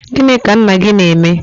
gịnị ka nna gị na-eme?